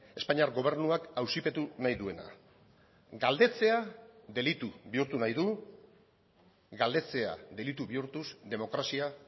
espainiar gobernuak auzipetu nahi duena galdetzea delitu bihurtu nahi du galdetzea delitu bihurtuz demokrazia